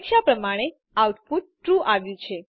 અપેક્ષા પ્રમાણે output true આવ્યું છે